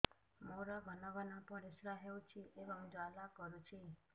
ମୋର ଘନ ଘନ ପରିଶ୍ରା ହେଉଛି ଏବଂ ଜ୍ୱାଳା କରୁଛି